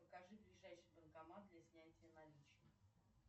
покажи ближайший банкомат для снятия наличных